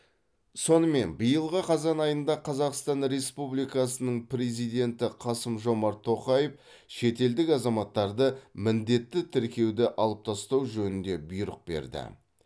сонымен биылғы қазан айында қазақстан республикасының президенті қасым жомарт тоқаев шетелдік азаматтарды міндетті тіркеуді алып тастау жөнінде бұйрық берді